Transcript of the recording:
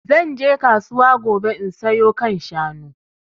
Zan je kasuwa gobe in sayo kan shanu